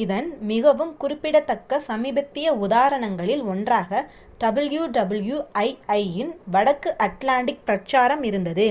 இதன் மிகவும் குறிப்பிடத்தக்க சமீபத்திய உதாரணங்களில் ஒன்றாக wwii இன் வடக்கு அட்லாண்டிக் பிரச்சாரம் இருந்தது